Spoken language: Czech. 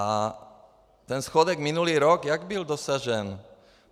A ten schodek minulý rok - jak byl dosažen?